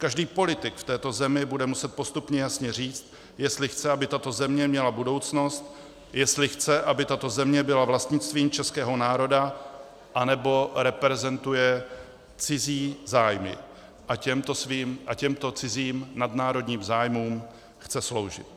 Každý politik v této zemi bude muset postupně jasně říct, jestli chce, aby tato země měla budoucnost, jestli chce, aby tato země byla vlastnictvím českého národa, anebo reprezentuje cizí zájmy a těmto cizím nadnárodním zájmům chce sloužit.